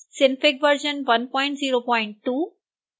synfig version 102